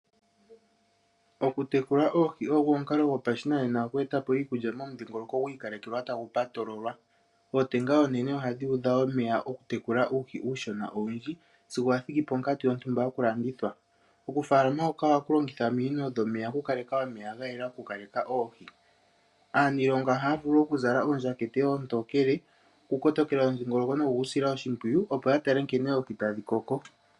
Okutekula oohi ogo omukalo gopashinanena oku eta iikulya momudhingoloko gwi ikalekelwa tagu patololwa. Ootenga oonene ohadhi udha omeya okutekula uuhi uushona owundji sigo wa thiki ponkatu yontumba yokulandithwa. Okufaalama huka ohaku longitha ominino dhomeya okukaleka omeya ga yela okuleka oohi. Aaniilonga ohaya zala oondjakete oontookele okukotokela omudhingoloko nokugu sila oshimpwiyu, opo ya tale nkene oohi tadhi koko.